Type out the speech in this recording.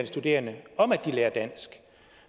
studerende om at lære dansk